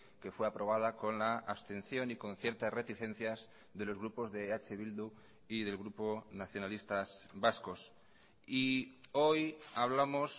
que fue aprobada con la abstención y con ciertas reticencias de los grupos de eh bildu y del grupo nacionalistas vascos y hoy hablamos